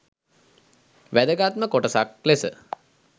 වැදගත්ම කොටසක් ලෙස